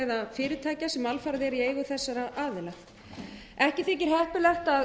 fyrirtækja sem alfarið eru í eigu þessara aðila ekki þykir heppilegt að